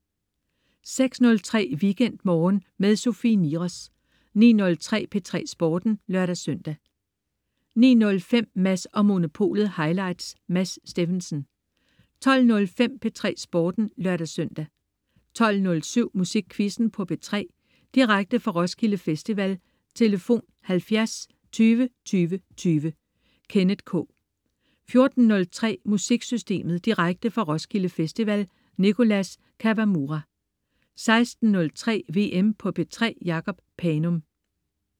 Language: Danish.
06.03 WeekendMorgen med Sofie Niros 09.03 P3 Sporten (lør-søn) 09.05 Mads & Monopolet highlights. Mads Steffensen 12.05 P3 Sporten (lør-søn) 12.07 Musikquizzen på P3. Direkte fra Roskilde Festival. Tlf.: 70 20 20 20. Kenneth K 14.03 MusikSystemet. Direkte fra Roskilde Festival. Nicholas Kawamura 16.03 VM på P3. Jacob Panum